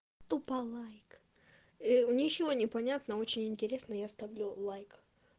тупо лайк у ничего не понятно очень интересно я ставлю лайк